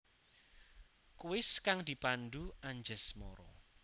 Kuis kang dipandhu Anjasmara